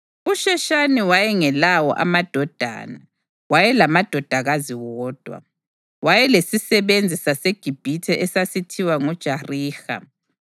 USheshani wayengelawo amadodana, wayelamadodakazi wodwa. Wayelesisebenzi saseGibhithe esasithiwa nguJariha.